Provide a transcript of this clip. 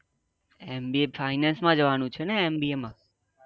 M B A finance માં જવા નું છે એમ બી એ માં